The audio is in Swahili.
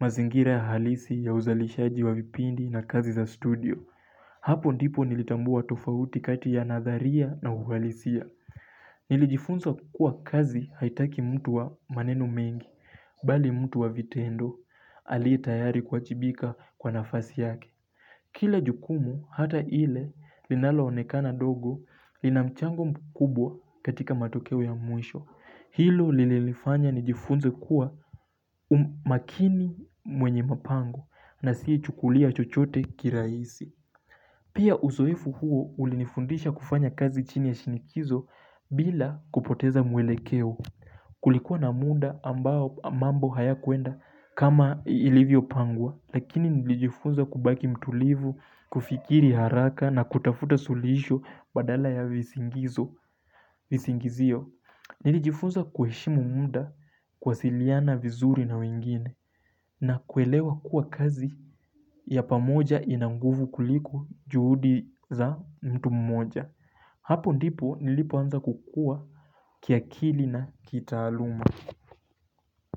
mazingira ya halisi ya uzalishaji wa vipindi na kazi za studio. Hapo ndipo nilitambua tofauti kati ya nadharia na uhalisia. Nilijifunza kuwa kazi haitaki mtu wa maneno mengi, bali mtu wa vitendo, aliyetayari kuwajibika kwa nafasi yake. Kila jukumu hata ile linaloonekana dogo lina mchango mkubwa katika matokeo ya mwisho. Hilo lilinifanya nijifunze kuwa makini mwenye mapango na asiye chukulia chochote kirahisi. Pia uzoefu huo ulinifundisha kufanya kazi chini ya shinikizo bila kupoteza mwelekeo. Kulikuwa na muda ambao mambo haya kuenda kama ilivyopangwa. Lakini nilijifunza kubaki mtulivu, kufikiri haraka na kutafuta suluhisho badala ya visingizio. Nilijifunza kuheshimu muda kuwasiliana vizuri na wengine na kuelewa kuwa kazi ya pamoja ina nguvu kuliko juhudi za mtu mmoja. Hapo ndipo nilipoanza kukua kiakili na kitaaluma.